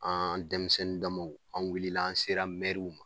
An denmisɛnnin dama an wulila an sera ma